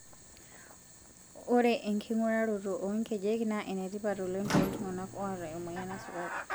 Ore enking'uraroto oo nkejek naa enetipat oleng tooltung'ana ooata emoyian esukari.